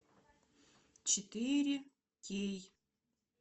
четыре кей